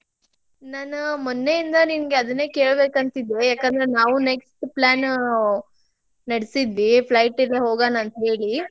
ನಾನ್ ಮೊನ್ನೆಯಿಂದ ನಿಂಗೆ ಅದನ್ನೇ ಕೇಳಬೇಕಂತ ಇದ್ದೆ ಯಾಕಂದ್ರ್ ನಾವು next plan ನಡಿಸಿದ್ವಿ flight ಯಿಂದ್ ಹೋಗೋಣಾಂತ ಹೇಳಿ.